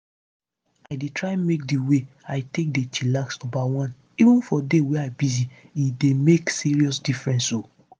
i dey try make di way i take dey chillax numba one even for day wey busy — e dey make serious difference o.